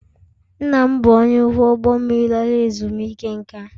Nna m bụ onye ọkwọ ụgbọ mmiri lara ezumike nká